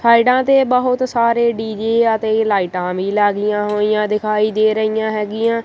ਸਾਈਡਾਂ ਤੇ ਬਹੁਤ ਸਾਰੇ ਡੀ_ਜੇ ਅਤੇ ਲਾਈਟਾਂ ਵੀ ਲੱਗਿਆਂ ਹੋਈਆਂ ਦਿਖਾਈ ਦੇ ਰਹੀਆਂ ਹੀਗੀਆਂ